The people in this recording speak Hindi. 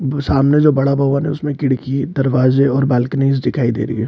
ब सामने जो बड़ा भवन है उसमें खिड़की दरवाजे और बालॅकनीज दिखाइ दे रही है।